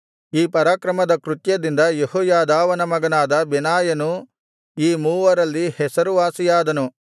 ಈ ಪರಾಕ್ರಮದ ಕೃತ್ಯದಿಂದ ಯೆಹೋಯಾದಾವನ ಮಗನಾದ ಬೆನಾಯನು ಈ ಮೂವರಲ್ಲಿ ಹೆಸರುವಾಸಿಯಾದನು